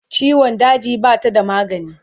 ciwon daji Bata da magani